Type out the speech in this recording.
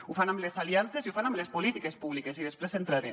ho fan amb les aliances i ho fan amb les polítiques públiques i després hi entraré